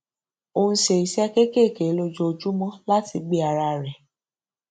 ó ń ṣe iṣé kéékèèké lójoojúmó láti gbé ara rẹ